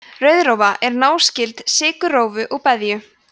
rauðrófa er náskyld sykurrófu og beðju